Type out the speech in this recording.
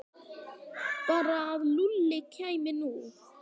Bara að Lúlli kæmi nú.